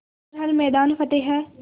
कर हर मैदान फ़तेह